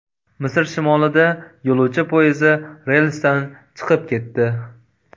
Misr shimolida yo‘lovchi poyezdi relsdan chiqib ketdi.